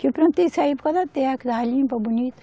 Que eu plantei isso aí por causa da terra, que estava limpa, bonita.